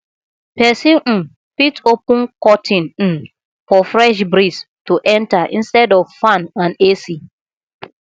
person um fit open curtain um for fresh breeze to enter intead of fan and ac